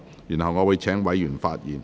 然後，我會請委員發言。